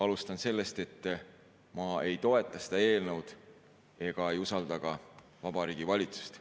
Alustan sellest, et ma ei toeta seda eelnõu ega usalda ka Vabariigi Valitsust.